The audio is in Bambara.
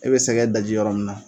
E bɛ sɛgɛ daji yɔrɔ min na